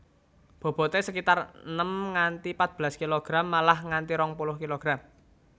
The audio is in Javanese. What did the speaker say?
Bobote sekitar enem nganti patbelas kilogram malah nganti rong puluh kilogram